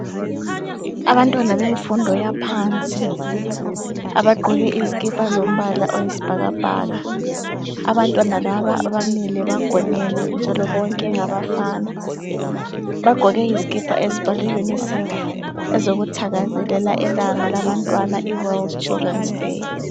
Abantwana bemfundo yaphansi abagqoke izikipa zombala oyisibhakabhaka. Abantwana laba bamile bagonene njalo bonke ngabafana. Bagqoke izikipa ezibhalwe UNICEF ezokuthakazelela ilanga labantwana i world children's day